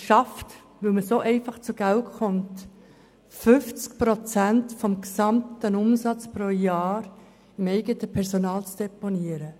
Weil die Stiftung einfach zu Geld kommt, schafft sie es, 50 Prozent des gesamten Umsatzes pro Jahr beim eigenen Personal zu deponieren.